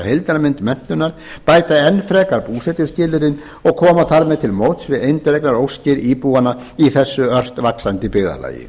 heildarmynd menntunar og bæta enn frekar búsetuskilyrðin og koma þar með til móts við eindregnar óskir íbúanna í þessu ört vaxandi byggðarlagi